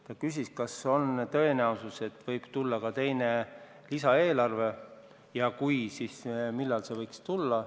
Ta küsis, kas on tõenäosus, et võib tulla ka teine lisaeelarve, ja kui on, siis millal see võiks tulla.